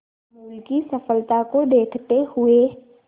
अमूल की सफलता को देखते हुए